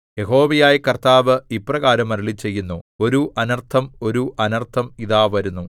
യഹോവയായ കർത്താവ് ഇപ്രകാരം അരുളിച്ചെയ്യുന്നു ഒരു അനർത്ഥം ഒരു അനർത്ഥം ഇതാ വരുന്നു